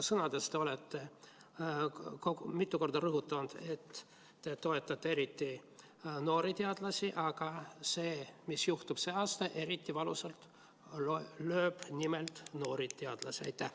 Sõnades olete mitu korda rõhutanud, et te toetate eriti noori teadlasi, aga see, mis juhtub see aasta, lööbki eriti valusalt just nimelt noori teadlasi.